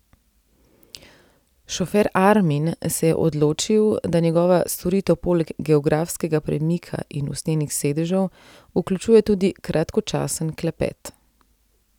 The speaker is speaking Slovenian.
Šofer Armin se je odločil, da njegova storitev poleg geografskega premika in usnjenih sedežev vključuje tudi kratkočasen klepet.